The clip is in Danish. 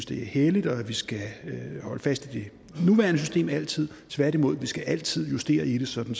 det er helligt og at vi skal holde fast i det nuværende system altid tværtimod vi skal altid justere i det sådan